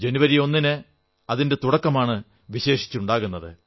ജനുവരി ഒന്നിന് അതിന്റെ തുടക്കമാണ് വിശേഷിച്ച് ഉണ്ടാകുന്നത്